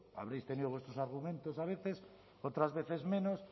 habréis tenido vuestros argumentos a veces otras veces menos